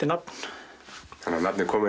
nafn þannig að nafnið kom